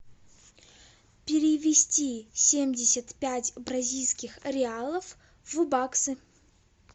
перевести семьдесят пять бразильских реалов в баксы